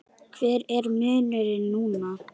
Hver er munurinn núna?